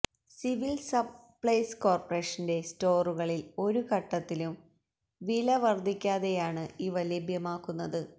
civil supplies കോർപറേഷൻെറ സ്റ്റോറുകളിൽ ഒരു ഘട്ടത്തിലും വില വർധിക്കാതെയാണ് ഇവ ലഭ്യമാക്കുന്നത്